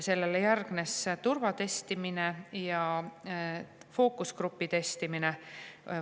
Sellele järgnes turvatestimine ja fookusgrupi testimine.